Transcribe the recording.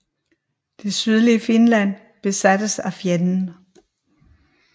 Det sydlige Finland besattes af fjenden